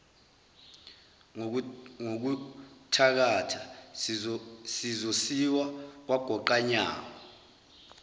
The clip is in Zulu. ngokuthakatha zizosiwa kwagoqanyawo